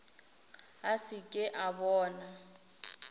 a se ke a bona